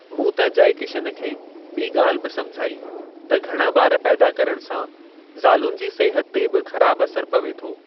मूं त जयकिशन खे ॿी गा॒ल्हि बि समझाई त घणा बा॒र पैदा करण सां ज़ालुनि जी सिहत ते बि ख़राबु असरु पवे थो।